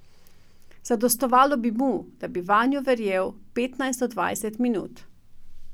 Zadostovalo bi mu, da bi vanjo verjel petnajst do dvajset minut.